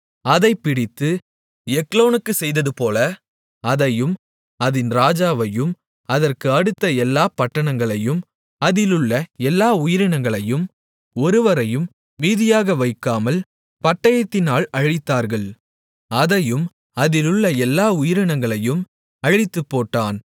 அதைப் பிடித்து எக்லோனுக்குச் செய்ததுபோல அதையும் அதின் ராஜாவையும் அதற்கு அடுத்த எல்லாப் பட்டணங்களையும் அதிலுள்ள எல்லா உயிரினங்களையும் ஒருவரையும் மீதியாக வைக்காமல் பட்டயத்தினால் அழித்தார்கள் அதையும் அதிலுள்ள எல்லா உயிரினங்களையும் அழித்துப்போட்டான்